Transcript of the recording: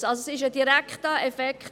Es ist also ein direkter Effekt: